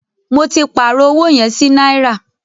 Mó tí pàárọ̀ ọwọ yẹn sí náírà.